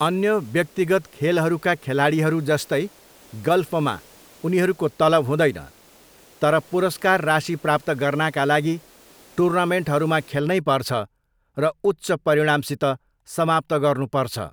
अन्य व्यक्तिगत खेलहरूका खेलाडीहरू जस्तै गल्फमा उनीहरूको तलब हुँदैन, तर पुरस्कार राशि प्राप्त गर्नाका लागि टुर्नामेन्टहरूमा खेल्नै पर्छ र उच्च परिणामसित समाप्त गर्नुपर्छ।